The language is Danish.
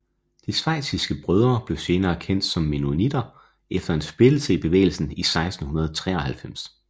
De Schweiziske Brødre blev senere kendt som mennonitter efter en splittelse i bevægelsen i 1693